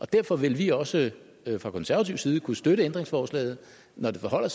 derfor vil vi også fra konservativ side kunne støtte ændringsforslaget når det forholder